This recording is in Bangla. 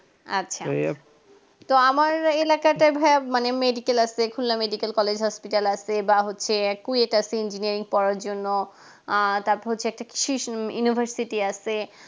আচ্ছা তো আমার এলাকাতে ভাই মানে medical আছে খুলনা medical college hospital আছে বা হচ্ছে acquired এটা আছে engineering পড়ার জন্য আ তারপর হচ্ছে এটা কৃষি university আছে